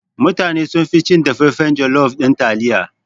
Mutane sunfi cin dafaffan jalof ɗin taliya.